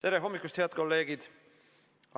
Tere hommikust, head kolleegid!